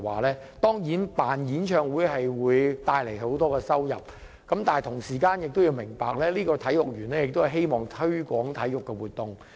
雖然舉辦演唱會會帶來很多收入，但同時也要明白，體育園是希望推廣體育活動。